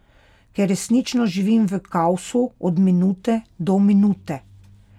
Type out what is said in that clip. Ker resnično živim v kaosu, od minute do minute.